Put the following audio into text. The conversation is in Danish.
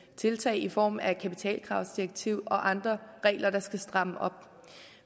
tiltag i form af et kapitalkravsdirektiv og andre regler der skal stramme op